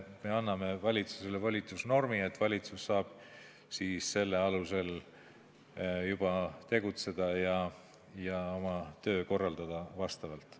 Me anname valitsusele volitusnormi, valitsus saab selle alusel tegutseda ja oma tööd korraldada.